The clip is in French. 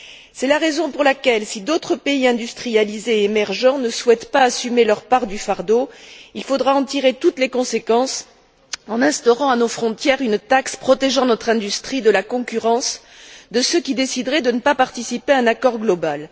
C'est la raison pour laquelle, si d'autres pays industrialisés et émergents ne souhaitent pas assumer leur part du fardeau, il faudra en tirer toutes les conséquences en instaurant à nos frontières une taxe protégeant notre industrie de la concurrence de ceux qui décideraient de ne pas participer à un accord global.